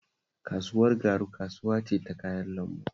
Kasuwar Garu kasuwa ce ta kayan lambu